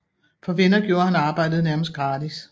For venner gjorde han arbejdet nærmest gratis